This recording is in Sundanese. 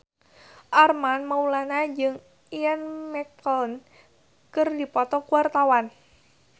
Armand Maulana jeung Ian McKellen keur dipoto ku wartawan